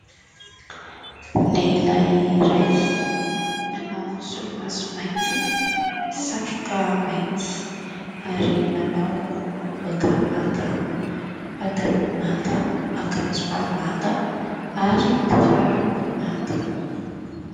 Lehilahy iray manao solomaso mainty, satroka mainty ary manao lobaka manga, pataloha manga, akanjo bà manga ary kiraro manga.